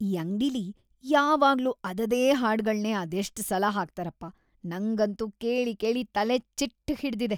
ಈ ಅಂಗ್ಡಿಲಿ ಯಾವಾಗ್ಲೂ ಅದದೇ ಹಾಡ್ಗಳ್ನೇ ಅದೆಷ್ಟ್‌ ಸಲ ಹಾಕ್ತಾರಪ್ಪ, ನಂಗಂತೂ ಕೇಳಿ ಕೇಳಿ ತಲೆಚಿಟ್ಟ್‌ ಹಿಡ್ದಿದೆ.